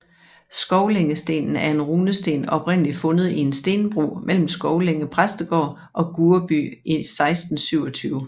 Skovlængestenen er en runesten oprindeligt fundet i en stenbro mellem Skovlænge Præstegård og Gurreby i 1627